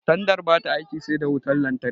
Tandar bata aiki sai da wutan lantarki